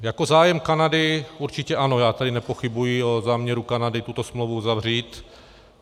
Jako zájem Kanady určitě ano, já tady nepochybuji o záměru Kanady tuto smlouvu uzavřít.